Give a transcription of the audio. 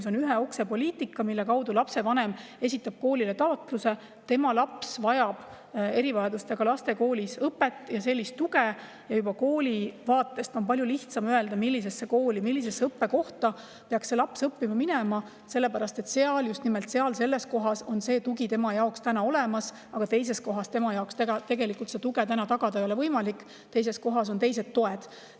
See on ühe ukse poliitika, mille korral lapsevanem esitab koolile taotluse, et tema laps vajab erivajadustega laste koolis õpet ja sellist tuge, ning koolil on palju lihtsam siis öelda, millisesse õppekohta peaks see laps õppima minema, sellepärast et just nimelt selles kohas on tugi tema jaoks olemas, aga teises kohas talle tuge tagada ei ole võimalik, teises kohas on teised toed.